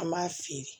An b'a feere